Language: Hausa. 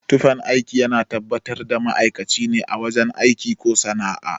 Tufan aiki yana tabbatar da ma'aikaci ne a wajen aiki ko sana'a